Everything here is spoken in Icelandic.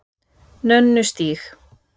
Nönnustíg